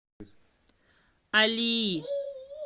алии